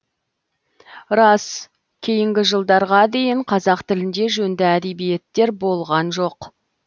рас кейінгі жылдарға дейін қазақ тілінде жөнді әдебиеттер болған жоқ